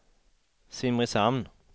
Simrishamn